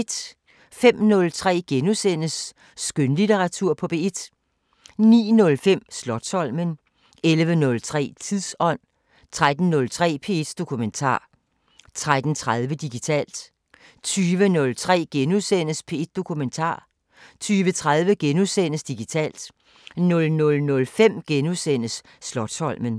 05:03: Skønlitteratur på P1 * 09:05: Slotsholmen 11:03: Tidsånd 13:03: P1 Dokumentar 13:30: Digitalt 20:03: P1 Dokumentar * 20:30: Digitalt * 00:05: Slotsholmen *